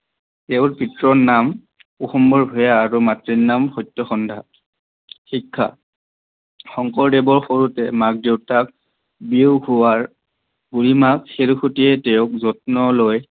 তেওৰ পিতৃৰ নাম আছিল কুসুম্বৰ ভূঞা আৰু মাতৃৰ নাম সত্যসন্ধা, শিক্ষা শংকৰদেৱ সৰুতে মাক দেউতাক বিয়োগ হোৱাত বুঢ়ীমাক খেৰসুতিয়ে তেওক যত্ন লয়।